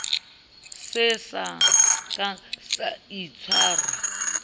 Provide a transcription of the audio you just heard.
se sa ka sa itshwara